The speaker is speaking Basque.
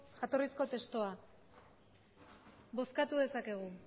jatorrizko testua bozkatu dezakegu